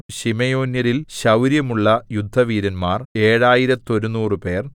ശിമെയോന്യരിൽ ശൗര്യമുള്ള യുദ്ധവീരന്മാർ എഴായിരത്തൊരുനൂറുപേർ